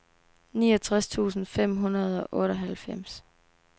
niogtres tusind fem hundrede og otteoghalvfems